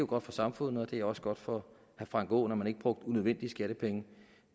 godt for samfundet og det var også godt for herre frank aaen at man ikke brugte unødvendige skattepenge